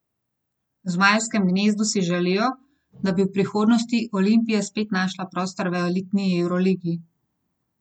V zmajevem gnezdu si želijo, da bi v prihodnosti Olimpija spet našla prostor v elitni evroligi.